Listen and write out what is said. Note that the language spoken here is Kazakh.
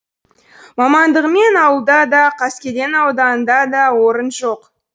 мамандығыммен ауылда да қаскелең ауданында да орын жоқ